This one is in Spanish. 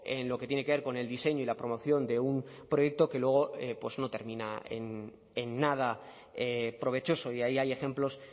en lo que tiene que ver con el diseño y la promoción de un proyecto que luego no termina en nada provechoso y ahí hay ejemplos